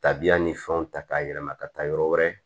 Tabiya ni fɛnw ta k'a yɛlɛma ka taa yɔrɔ wɛrɛ